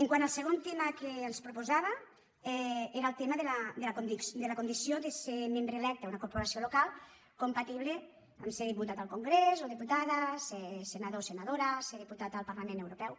quant al segon tema que els proposava era el tema de la condició de ser membre electe en una corporació local compatible a ser diputat al congrés o diputada ser senador o senadora ser diputat al parlament europeu